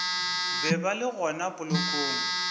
be ba le gona polokong